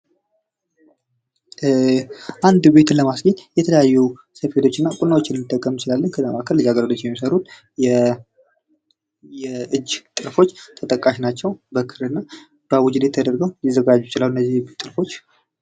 አንድ ቤትን ለማስጌጥ የተለያዩ ሰፌዶች እና ቁናዎችን ልንጠቀም እንችላለን:: ከዛ መካከል ልጃገረዶች የሚሰሩት የእጅ ጥልፎች ተጠቃሽ ናቸው:: በክር እና በአቡጀዴ ተደርገው ሊዘጋጁ ይችላሉ እነዚህ ጥልፎች::